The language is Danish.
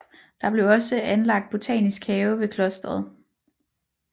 Der blev også anlagt botanisk have ved klosteret